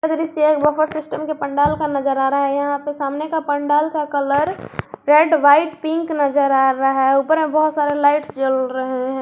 दृश्य एक buffer system के पंडाल का नजर आ रहा है यहां पे सामने का पंडाल का कलर रेड व्हाइट पिंक नजर आ रहा है ऊपर में बहुत सारे लाइट्स जल रहे हैं।